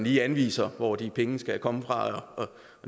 lige at anvise hvor de penge skal komme fra